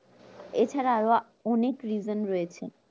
এছাড়া আরো অনেক reason রয়েছে